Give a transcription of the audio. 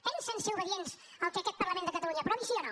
pensen ser obedients al que aquest parlament de catalunya aprovi sí o no